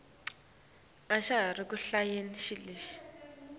tincumo leticinile tekulwa